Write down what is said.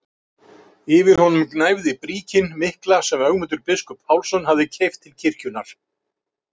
Yfir honum gnæfði bríkin mikla sem Ögmundur biskup Pálsson hafði keypt til kirkjunnar.